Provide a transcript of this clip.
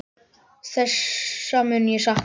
Þessa mun ég sakna.